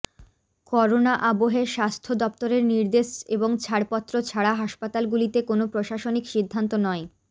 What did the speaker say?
corona আবহে স্বাস্থ্য দফতরের নির্দেশ এবং ছাড়পত্র ছাড়া হাসপাতালগুলিতে কোনও প্রশাসনিক সিদ্ধান্ত নয়